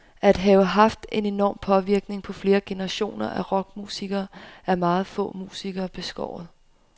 At have haft en enorm påvirkning på flere generationer af rockmusikere er meget få musikere beskåret.